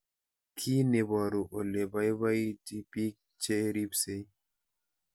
Kiy neparu ole ipaipaiti pik che ripsei